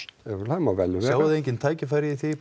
það má vel vera sjáið þið engin tækifæri í því